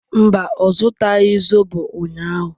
Mba, ọ zụtaghị zobo ụnyahụ